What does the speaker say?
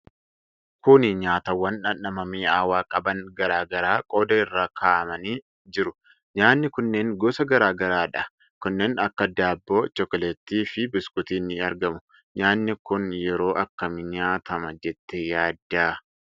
Kuni nyaatawwan dhandhama mi'aawaa qaban garaa garaa qodaa irra kaa'amanii jiru. Nyaanni kunneen gosa garaa garaadha. Kanneen akka daabboo, chokkoleettii fi biskuutii ni argamu. Nyaanni kun yeroo akkamii nyaatama jettee yaadda?